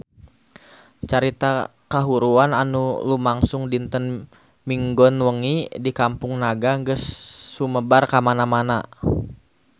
Carita kahuruan anu lumangsung dinten Minggon wengi di Kampung Naga geus sumebar kamana-mana